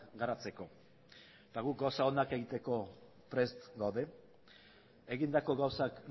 garatzeko eta guk gauza onak egiteko prest gaude egindako gauzak